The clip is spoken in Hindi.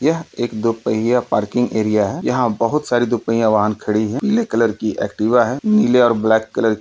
यह एक दुपहिया पार्किंग एरिया है। यहाँ बहुत सारी दुपहिया वाहन खड़ी है| पीले कलर की एक्टिवा है। नीले और ब्लैक कलर --